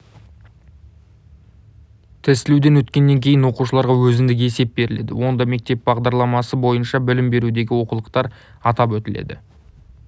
тестілеуден өткеннен кейін оқушыларға өзіндік есеп беріледі онда мектеп бағдарламасы бойынша білім берудегі олқылықтар атап өтіледі